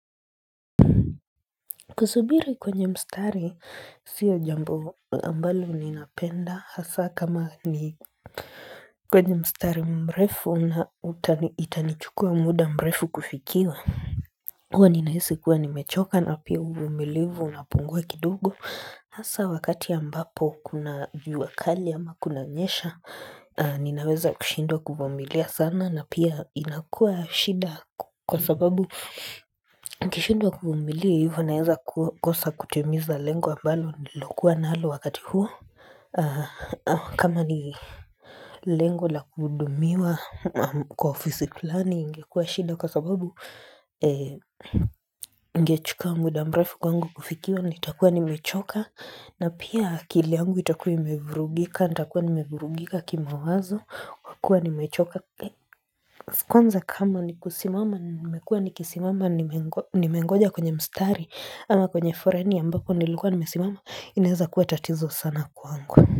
Kusubiri kwenye mstari sio jambo ambalo ninapenda hasa kama ni kwenye mstari mrefu na itanichukua muda mrefu kufikiwa. Huwa ninahisi kuwa nimechoka na pia umumilivu unapungwa kidugo hasa wakati ya mbapo kuna jua kali ama kunanyesha Ninaweza kushindwa kuvumilia sana na pia inakua shida kwa sababu Ukishindwa kumumilia hivo unaeza kosa kutimiza lengo ambalo nililokuwa nalo wakati huo kama ni lengo la kuhudumiwa kwa ofisi fulani ingekuwa shida kwa sababu Ingechuka muda mrefu kwangu kufikiwa nitakuwa nimechoka na pia akili yangu itakuwa imevurugika nitakuwa nimevurugika kimawazo kwa kuwa nimechoka Kwanza kama ni kusimama nimekuwa ni kisimama nimengoja kwenye mstari ama kwenye foreni ambako nilikuwa nimesimama inaweza kuwa tatizo sana kwangu.